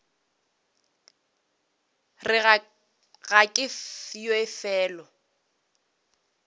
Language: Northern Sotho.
re ga ke ye felo